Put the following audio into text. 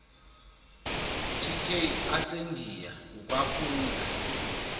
tk asendiya ukwaphula